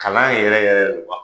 Kalan yɛrɛ yɛrɛ re ma